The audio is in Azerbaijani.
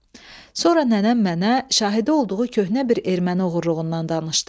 Sonra nənəm mənə şahidi olduğu köhnə bir erməni oğruluğundan danışdı.